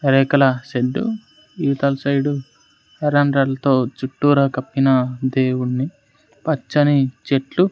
యెనకల shed ఇవతల side ఎరమ్రలతో చుట్టూరా కప్పిన దేవుణ్ణి పచ్చని చెట్లు--